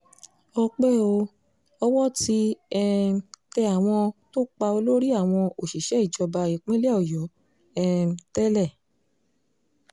ọpẹ́ o owó ti um tẹ àwọn tó pa olórí àwọn òṣìṣẹ́ ìjọba ìpínlẹ̀ ọ̀yọ́ um tẹ́lẹ̀